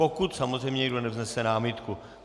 Pokud samozřejmě někdo nevznese námitku.